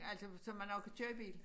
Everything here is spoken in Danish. Altså så man også kan køre bil